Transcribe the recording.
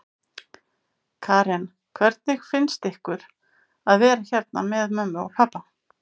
Karen: Hvernig finnst ykkur að vera hérna með mömmu og pabba?